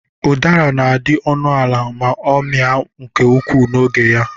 Ụdara na-adị ọnụ ala ma ọ mịa nke ukwuu n'oge ya.